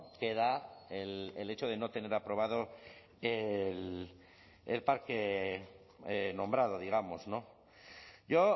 que da el hecho de no tener aprobado el parque nombrado digamos yo